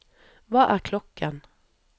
hva er klokken